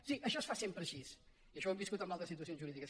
sí això es fa sempre així i això ho hem viscut en altres situacions jurídiques